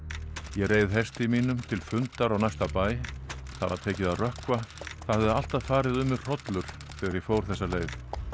ég reið hesti mínum til fundar á næsta bæ það var tekið að rökkva það hafði alltaf farið um mig hrollur þegar ég fór þessa leið